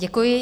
Děkuji.